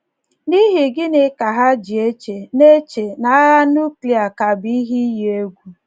N’ihi gịnị ka ha ji eche na eche na agha núklịa ka bụ ihe iyi egwu?